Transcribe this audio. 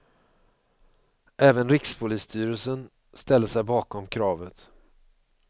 Även rikspolisstyrelsen ställer sig bakom kravet.